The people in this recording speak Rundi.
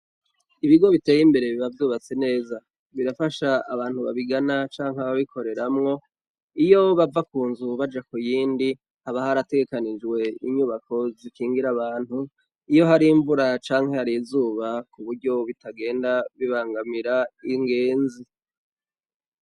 Ibigo biteye imbere biba vyubatse neza birafasha abantu babigana canke babikoreramwo iyo bava kunzu baja kuyindi haba harategekanijwe inyubako zikingira abantu iyo harimvura cane hari izu kuburyo bitagenda bibangamira ingezi